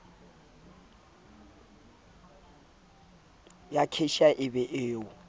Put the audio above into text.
ya cashier e be o